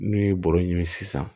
N'u ye bɔrɔ ɲini sisan